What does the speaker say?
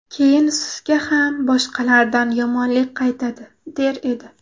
Keyin sizga ham boshqalardan yomonlik qaytadi” der edi.